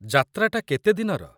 ଯାତ୍ରାଟା କେତେ ଦିନର?